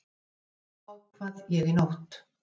Þetta ákvað ég í nótt.